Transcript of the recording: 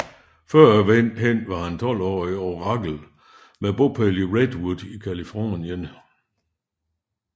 Førhen var han 12 år i Oracle med bopæl i Redwood i Californien